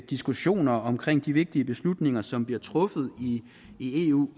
diskussioner omkring de vigtige beslutninger som bliver truffet i eu